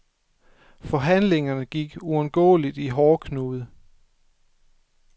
Forhandlingerne gik uundgåeligt i hårdknude.